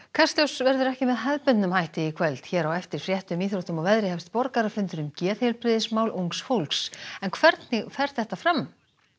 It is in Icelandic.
kastljós verður ekki með hefðbundnum hætti í kvöld hér á eftir fréttum íþróttum og veðri hefst borgarafundur um geðheilbrigðismál ungs fólks hvernig fer þetta fram